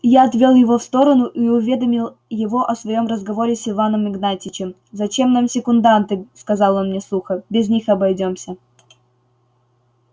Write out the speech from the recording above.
я отвёл его в сторону и уведомил его о своём разговоре с иваном игнатьичем зачем нам секунданты сказал он мне сухо без них обойдёмся